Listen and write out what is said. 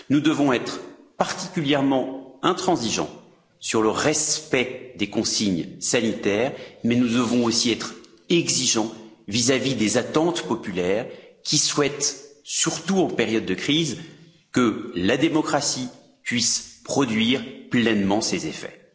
Nous devons être particulièrement intransigeants sur le respect des consignes sanitaires, mais nous devons aussi être exigeants vis à vis des attentes populaires, qui souhaitent, surtout en période de crise, que la démocratie puisse produire pleinement ses effets.